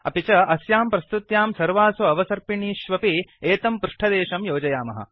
अपि च अस्यां प्रस्तुत्यां सर्वासु अवसर्पिणीष्वपि एतं पृष्ठदेशं योजयामः